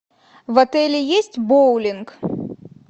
в отеле есть боулинг